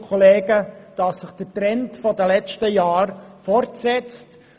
Wir sehen, dass sich der Trend der letzten Jahre fortsetzt.